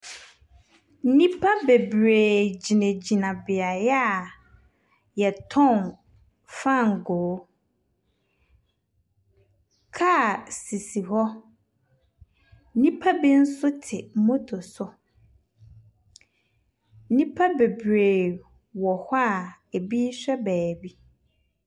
Nnipa bebree gyinagyina beaeɛ a wɔtɔn fangoo. Kaa sisi hɔ. Nnipa bi nso te moto so. Nnipa bebree wɔ hɔ a ebi rehwɛ baabi.